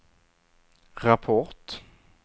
rapport